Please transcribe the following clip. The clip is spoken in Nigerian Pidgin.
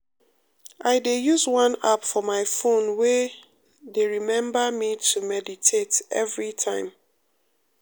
um i dey use one app for my phone wey um dey remember me to meditate every time.